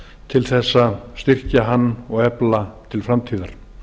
til þess að styrkja hann og efla til framtíðar